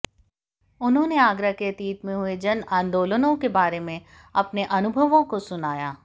उन्होने आगरा के अतीत में हुए जन आन्दोलनों के बारे में अपने अनुभवों को सुनाया